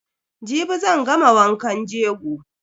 Jibi zan gama wankan jego.